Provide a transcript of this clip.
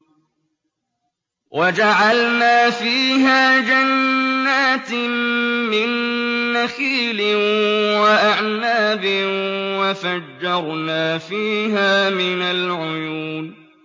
وَجَعَلْنَا فِيهَا جَنَّاتٍ مِّن نَّخِيلٍ وَأَعْنَابٍ وَفَجَّرْنَا فِيهَا مِنَ الْعُيُونِ